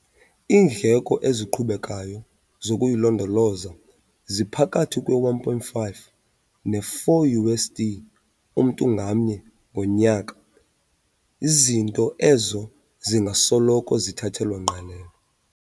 Iindleko eziqhubekayo zokuyilondoloza ziphakathi kwe-1.5 ne-4 USD mntu ngamnye ngonyaka zinto ezo zingasoloko zithathelwa ngqalelo.